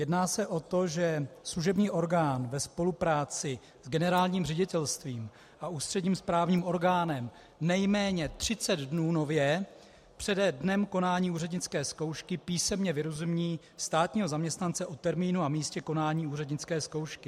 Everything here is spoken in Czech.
Jedná se o to, že služební orgán ve spolupráci s generálním ředitelstvím a ústředním správním orgánem nejméně 30 dnů nově přede dnem konání úřednické zkoušky písemně vyrozumí státního zaměstnance o termínu a místě konání úřednické zkoušky.